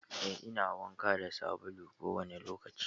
Eh, ina wanka da sabulu kowane lokaci.